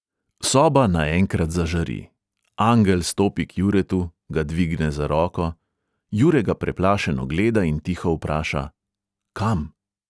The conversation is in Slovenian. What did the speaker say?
Soba naenkrat zažari – angel stopi k juretu, ga dvigne za roko – jure ga preplašeno gleda in tiho vpraša: kam?